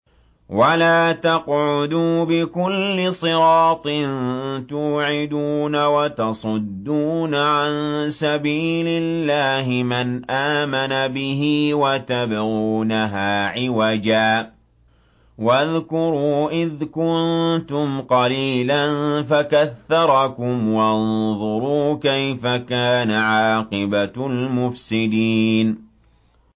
وَلَا تَقْعُدُوا بِكُلِّ صِرَاطٍ تُوعِدُونَ وَتَصُدُّونَ عَن سَبِيلِ اللَّهِ مَنْ آمَنَ بِهِ وَتَبْغُونَهَا عِوَجًا ۚ وَاذْكُرُوا إِذْ كُنتُمْ قَلِيلًا فَكَثَّرَكُمْ ۖ وَانظُرُوا كَيْفَ كَانَ عَاقِبَةُ الْمُفْسِدِينَ